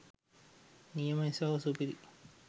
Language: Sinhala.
නියමයි සහෝ සුපිරි